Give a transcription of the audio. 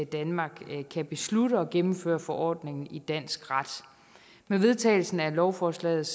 danmark kan beslutte og gennemføre forordningen i dansk ret med vedtagelsen af lovforslaget